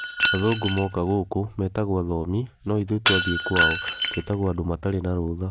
Athũngũ moka gũkũ, metagwo athomi no ithuĩ twathie kwao ,tũgwetagwo andũ matarĩ na rũtha .